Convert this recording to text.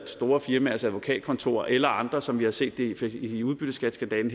store firmaers advokatkontorer eller andre som vi har set det her i udbytteskatteskandalen